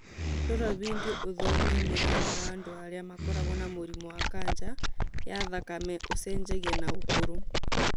Rora bindio ũthome mũigana wa andũ arĩa makoragwo na mũrimũ wa kanja ya thakame ũcenjagia na ũkũrũ